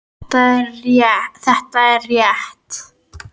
Þetta er rétt.